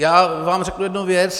Já vám řeknu jednu věc.